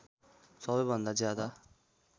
सबै भन्दा ज्यादा